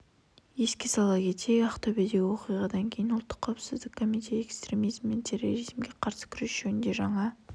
еске сала кетейік ақтөбедегі оқиғадан кейін ұлттық қауіпсіздік комитеті экстремизм мен терроризмге қарсы күрес жөніндегі жаңа